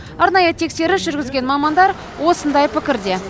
арнайы тексеріс жүргізген мамандар осындай пікірде